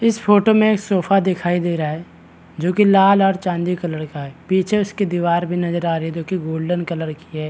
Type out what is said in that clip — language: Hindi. इस फोटो मे सोफा दिखाई दे रहा है जो कि लाल और चांदी का कलर का है पीछे उसकी दीवार भी नजर आ रही है जो कि गोल्डन कलर की है ।